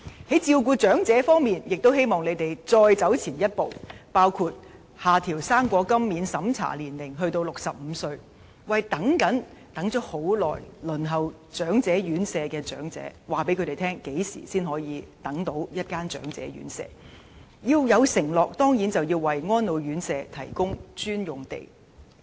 在照顧長者方面，我們亦希望政府再走前一步，包括下調"生果金"免審查年齡至65歲，以及對長者有所承諾，包括為安老院舍提供專用地，從而可告訴長期輪候長者院舍的長者何時才可獲配宿位。